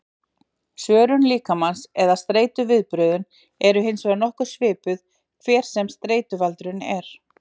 Svörun líkamans eða streituviðbrögðin eru hins vegar nokkuð svipuð, hver sem streituvaldurinn er.